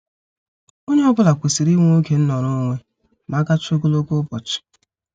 Onye ọ bụla kwesịrị inwe oge nọrọ onwe ma agachaa ogologo ụbọchị.